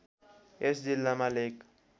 यस जिल्लामा लेक